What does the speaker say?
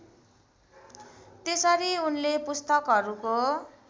त्यसरी उनले पुस्तकहरूको